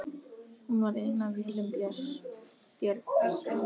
Hún var ein af vélum Björns